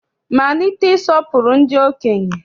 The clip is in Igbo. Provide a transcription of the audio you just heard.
Malite ịsọpụrụ ndị okenye!